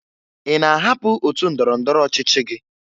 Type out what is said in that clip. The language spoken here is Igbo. Ị na-ahapụ otu ndọrọndọrọ ọchịchị gị?